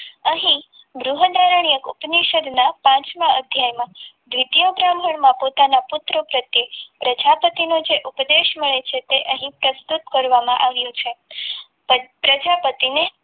અહીં ઉપનિષદમાં પાંચમાં અધ્યાયમાં દ્વિતીય બ્રાહ્મણ માં પોતાના પુત્રો પ્રત્યે પ્રજાપતિનો જે ઉપદેશ મળે છે તે અહીં પ્રસ્તુત કરવામાં આવે છે પણ પ્રજાપતિને